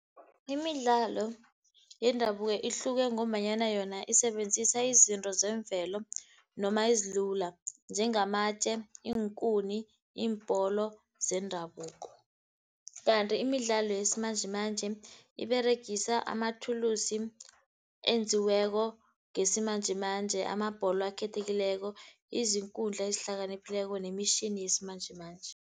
Imidlalo yendabuko ihluke ngombanyana yona isebenzisa izinto zemvelo noma ezilula njengamatje, iinkuni, iimbholo zendabuko. Kanti imidlalo yesimanjemanje iberegisa amathulusi enziweko ngesimanjemanje amabholo aki ihethekileko ziinkundla ezihlakaniphileko nemitjhini yesimanjemanje.